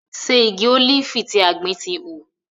Ṣe igi ólífì tí a gbìn ti hù?